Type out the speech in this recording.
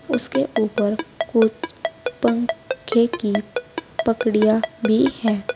उसके ऊपर कुछ पंखे की पकड़िया भी हैं।